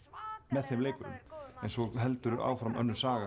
með þeim leikurum svo heldur áfram önnur saga